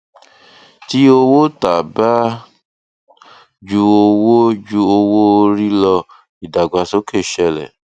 tí owó tà bá ju owó bá ju owó rí lọ ìdàgbàsókè ṣẹlẹ